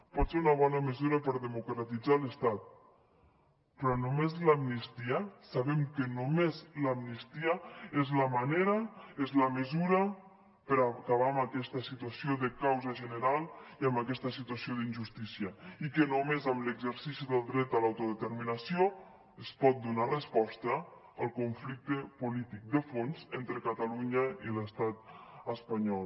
pot ser una bona mesura per democratitzar l’estat però sabem que només l’amnistia és la manera és la mesura per acabar amb aquesta situació de causa general i amb aquesta situació d’injustícia i que només amb l’exercici del dret a l’autodeterminació es pot donar resposta al conflicte polític de fons entre catalunya i l’estat espanyol